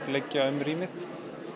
liggja um rýmið